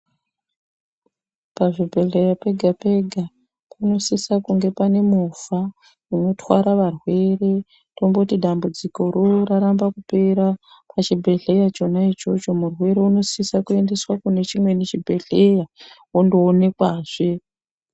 Pachibhedhlera chega chega panosisa kunge pane movha inotwara varwere tomboti dambudzikoro raramba kupera pachibhedhlera chona ichocho murwere unosiso kuendeswa kune chimweni chibhedhlera anoonekwa zve.